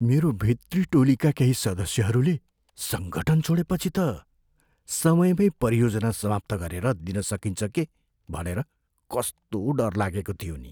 मेरो भित्री टोलीका केही सदस्यहरूले सङ्गठन छोडेपछि त समयमै परियोजना समाप्त गरेर दिन सकिन्छ के भनेर कस्तो डर लागेको थियो नि।